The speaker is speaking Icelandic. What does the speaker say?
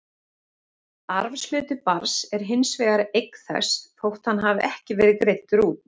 Arfshluti barns er hins vegar eign þess, þótt hann hafi ekki verið greiddur út.